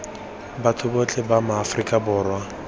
batho botlhe ba afrika borwa